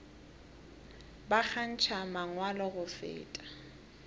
ba kgantšha mangwalo go feta